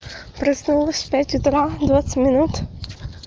проснулась в пять утра двадцать минут